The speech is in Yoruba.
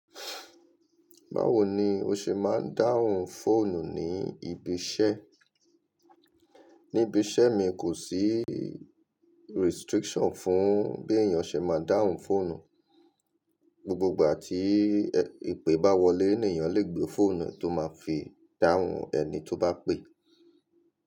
Báwo ni o ṣe máa ń dáhùn fóònù ní ibi iṣẹ́? Ní ibi iṣẹ́ mi kò sí restriction fún bí èèyàn ṣe máa ń dáhùn fóònù. Gbogbo ìgbà tí ìpè bá wọlé, ni èèyàn lè gbé fóònù ẹ tó máa fi dáhùn ẹni tó bá pè.